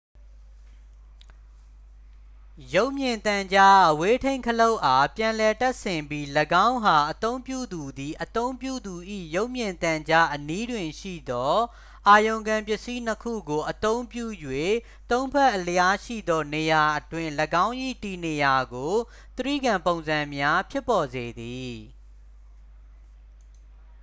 ရုပ်မြင်သံကြား အဝေးထိန်းခလုတ်အား ပြန်လည်တပ်ဆင်ပြီး ၎င်းအား အသုံးပြုသူသည် အသုံးပြုသူ၏ ရုပ်မြင်သံကြားအနီးတွင်ရှိသော အာရုံခံပစ္စည်း နှစ် ခုကို အသုံးပြု၍ သုံး ဖက်အလျားရှိသောနေရာအတွင်း ၎င်း၏ တည်နေရာကို တြိဂံပုံစံများဖြစ်ပေါ်စေသည်